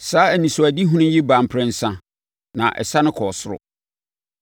Saa anisoadehunu yi baa mprɛnsa, na ɛsane kɔɔ ɔsoro.